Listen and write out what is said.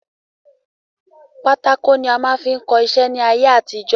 Pátákò ni a máa fín kọ iṣẹ́ ni ayé àtijọ́.